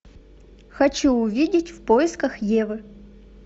хочу увидеть в поисках евы